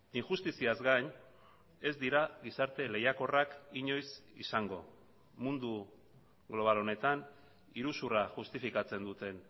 injustiziaz gain ez dira gizarte lehiakorrak inoiz izango mundu global honetan iruzurra justifikatzen duten